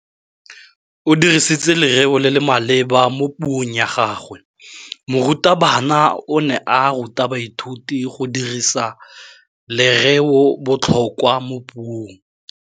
O dirisitse lerêo le le maleba mo puông ya gagwe. Morutabana o ne a ruta baithuti go dirisa lêrêôbotlhôkwa mo puong.